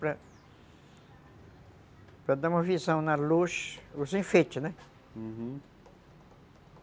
Para para dar uma visão na luz... Os enfeites, né? Uhum.